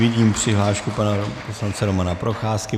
Vidím přihlášku pana poslance Romana Procházky.